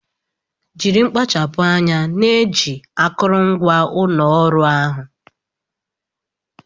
Jiri mkpachapu anya na-eji akụrụngwa ụlọ ọrụ ahụ